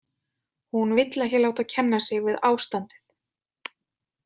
Hún vill ekki láta kenna sig við ástandið.